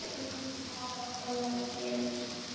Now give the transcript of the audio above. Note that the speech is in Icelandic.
Það fór ekki milli mála hvað var að gerast.